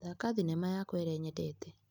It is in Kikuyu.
Thaka thinema yakwa ĩrĩa nyendete.